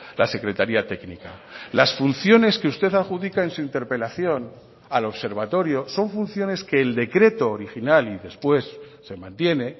la secretaría técnica las funciones que usted adjudica en su interpelación al observatorio son funciones que el decreto original y después se mantiene